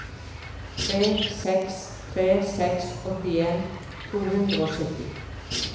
tre seks tre seks åttien to hundre og sytti